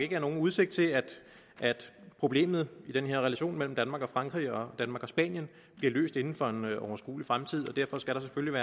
ikke er nogen udsigt til at problemet i den her relation mellem danmark og henholdsvis frankrig og spanien bliver løst inden for en overskuelig fremtid derfor skal der selvfølgelig